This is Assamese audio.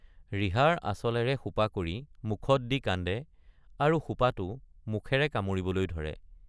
ৰিহাৰ আঁচলেৰে সোপা কৰি মুখত দি কান্দে আৰু সোপাটো মুখেৰে কামুৰিবলৈ ধৰে।